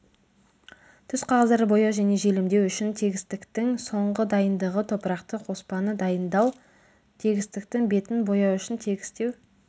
түсқағаздарды бояу және желімдеу үшін тегістіктің соңғы дайындығы топырақты қоспаны дайындау тегістіктің бетін бояу үшін тегістеу